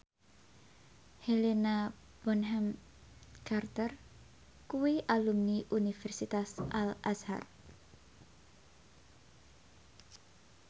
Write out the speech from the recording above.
Helena Bonham Carter kuwi alumni Universitas Al Azhar